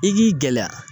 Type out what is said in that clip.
I k'i gɛlɛya